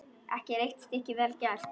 Ekki eitt stykki vel gert.